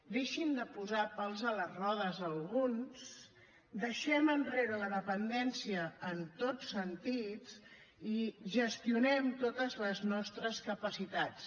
deixin de posar pals a les rodes alguns deixem enrere la dependència en tots sentits i gestionem totes les nostres capacitats